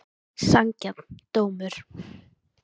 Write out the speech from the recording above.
Sanngjarn dómur?